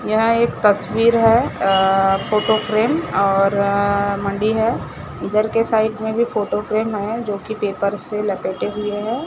यहां एक तस्वीर है अ फोटो फ्रेम और मंडी है इधर के साइड में भी फोटो फ्रेम है जोकि पेपर से लपेट हुए है।